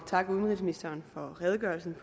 takke ministeren for redegørelsen